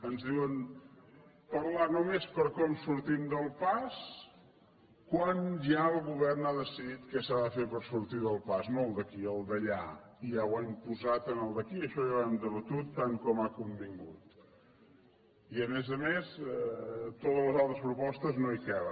ens diuen de parlar només per com sortim del pas quan ja el govern ha decidit que s’ha de fer per sortir del pas no el d’aquí el d’allà i ja ho han imposat al d’aquí això ja ho hem debatut tant com ha convingut i a més a més totes les altres propostes no hi caben